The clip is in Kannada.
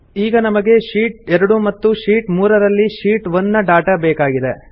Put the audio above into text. ಈಗ ನಮಗೆ ಶೀಟ್ 2 ಮತ್ತು ಶೀಟ್ 3ರಲ್ಲಿ ಶೀಟ್ 1ನ ಡಾಟಾ ಬೇಕಾಗಿದೆ